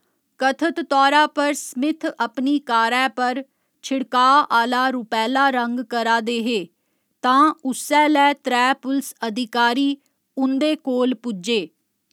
कथत तौरा पर स्मिथ अपनी कारै पर छिड़काऽ आह्‌ला रुपैह्‌ला रंग करा दे हे, तां उस्सै'लै त्रै पुलस अधिकारी उं'दे कोल पुज्जे।